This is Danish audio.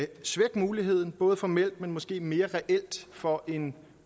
svække muligheden både formelt men måske mere reelt for en